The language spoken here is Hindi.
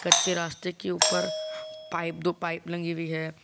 कच्चे रास्ते के ऊपर पाइप दो पाइप लगी हुई है।